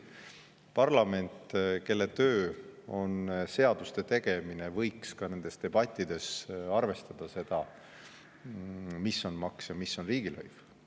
Parlament, kelle töö on seaduste tegemine, võiks ka nendes debattides arvestada seda, mis on maks ja mis on riigilõiv.